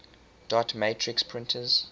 dot matrix printers